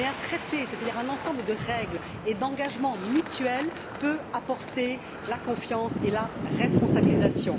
Mais un traité, c'est à dire un ensemble de règles et d'engagements mutuels, peut apporter la confiance et la responsabilisation.